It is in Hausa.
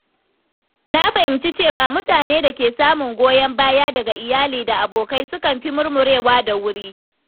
Na fahimci cewa mutane da ke samun goyon baya daga iyali da abokai sukan fi murmurewa da wuri.